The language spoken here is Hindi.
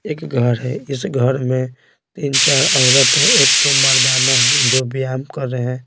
एक घर है इस घर में तीन चार औरत है एक दो मर्दाना है जो व्यायाम कर रहे हैं।